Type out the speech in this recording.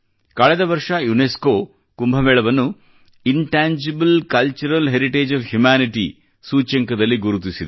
ಕಳೆದ ವರ್ಷ ಯುನೆಸ್ಕೊ ಕುಂಭ ಮೇಳವನ್ನು intangible cultural heritage of humanity ಯ ಸೂಚ್ಯಂಕದಲ್ಲಿ ಗುರುತಿಸಿದೆ